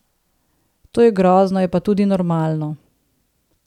To je grozno, je pa tudi normalno.